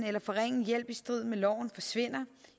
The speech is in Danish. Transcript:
eller forringe hjælp i strid med loven forsvinder